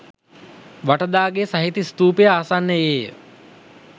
වටදාගෙය සහිත ස්තූපය ආසන්නයේය.